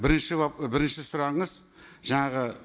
бірінші бірінші сұрағыңыз жаңағы